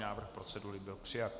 Návrh procedury byl přijat.